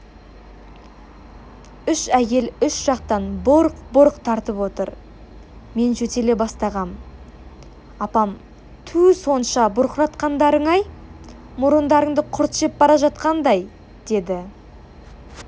үш әйел үш жақтан бұрқ-бұрқ тартып отыр мен жөтеле бастағам апам түу сонша бұрқыратқандарың-ай мұрындарыңды құрт жеп бара жатқандай деді